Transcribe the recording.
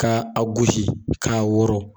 Ka a gosi ka wɔrɔn .